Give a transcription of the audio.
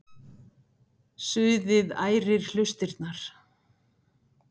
Suðið ærir hlustirnar.